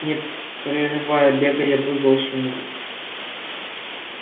не прерывая бега я вызвал сумрак